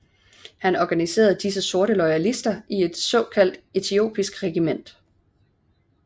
Han organiserede disse sorte loyalister i et såkaldt etiopisk regiment